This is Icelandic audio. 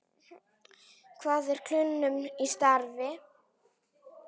Hvað er kulnun í starfi?